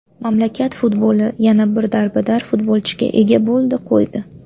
Mamlakat futboli yana bir darbadar futbolchiga ega bo‘ldi, qo‘ydi.